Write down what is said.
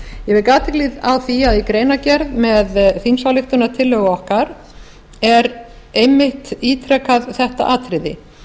vek athygli á því að í greinargerð með þingsályktunartillögu okkar er einmitt ítrekað þetta atriði